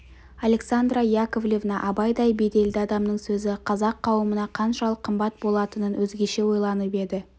александра яковлевна абайдай беделді адамның сөзі қазақ қауымына қаншалық қымбат болатынын өзгеше ойланып еді